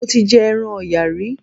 Mo ti jẹ ẹran Ọ̀yà rí.